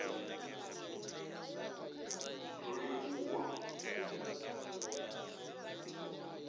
rolivhuwan